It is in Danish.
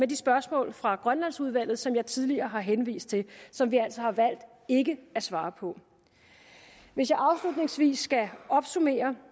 de spørgsmål fra grønlandsudvalget som jeg tidligere har henvist til og som vi altså har valgt ikke at svare på hvis jeg afslutningsvis skal opsummere